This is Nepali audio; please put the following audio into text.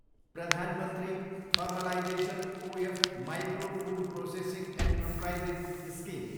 प्रधान मन्त्री formalisation of micro food processing enterprises scheme